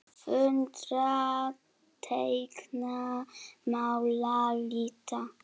Föndra- teikna- mála- lita